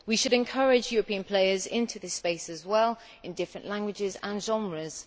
We should encourage European players into this space as well in different languages and genres.